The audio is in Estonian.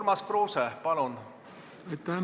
Urmas Kruuse, palun!